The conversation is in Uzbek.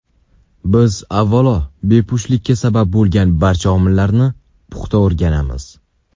Biz avvalo bepushtlikka sabab bo‘lgan barcha omillarni puxta o‘raganamiz.